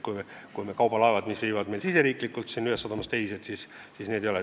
Neid kaubalaevu, mis viivad kaupa meie riigi ühest sadamast teise, silmas ei peeta.